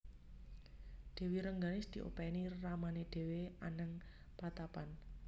Dèwi Rengganis diopèni ramané dhéwé anèng patapan